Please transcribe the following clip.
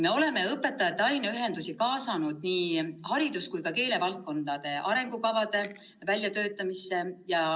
Me oleme õpetajate aineühendusi kaasanud nii haridus- kui ka keelevaldkonna arengukavade väljatöötamisse.